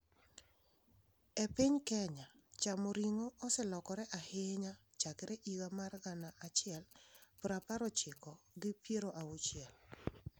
E piny Kenya, chamo ring'o oselokore ahinya chakre higa mar gana achiel prapar ochiko gi piero auchiel.